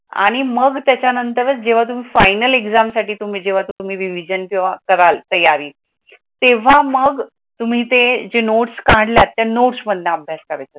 आणि मग त्याच्यानंतर जेव्हा तुम्ही फायनल एक्झाम साठी तुम्ही जेव्हा तुम्ही रिव्हिजन किंवा कराल तयारी तेव्हा मग जे तुम्ही नोट्स काढला त्या नोट्स मधनं अभ्यास करायचा.